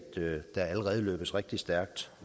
der allerede løbes rigtig stærkt